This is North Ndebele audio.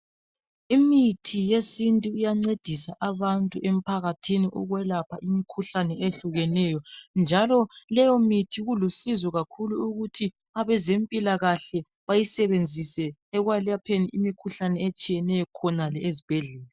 Imithi yesintu iyancedisa abantu emphakathini ukwelapha imkhuhlane ehlukeneyo, njalo leyo mithi kulusizo kakhulu ukuthi abezempilakahle bayisebenzise ekwelapheni imikhuhlane etshiyeneyo khonale ezibhedlela.